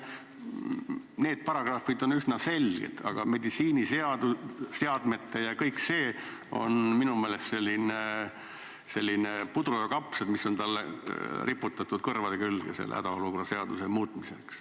Need paragrahvid on üsna selged, aga meditsiiniseadmed ja kõik see on minu meelest selline puder ja kapsad, mis on riputatud siia kõrvade külge hädaolukorra seaduse muutmiseks.